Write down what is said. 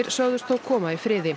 sögðust þó koma í friði